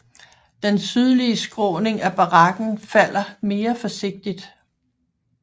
Den sydlige skråning af bakken falder mere forsigtigt